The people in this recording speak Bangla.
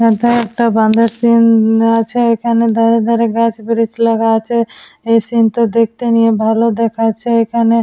এখানে এটা বাঁধের সিন আছে। এখানে ধারে ধারে গাছ বীজ লাগানো আছে। এই সিন টও দেখতে নিয়ে ভালো দেখাচ্ছে। এখানে--